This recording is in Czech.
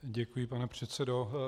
Děkuji, pane předsedo.